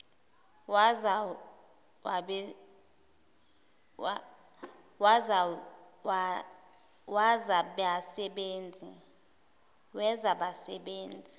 wezabasebenzi